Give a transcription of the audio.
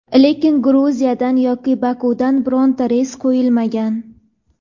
lekin Gruziyadan yoki Bokudan bironta reys qo‘yilmagan.